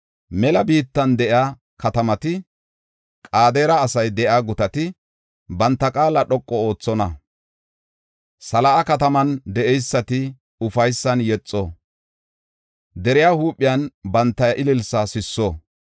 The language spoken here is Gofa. Mela biittan de7iya katamati, Qedaare asay de7iya gutati banta qaala dhoqu oothonna. Sela7a kataman de7eysati ufaysan yexo; deriya huuphen banta ililsaa sisso.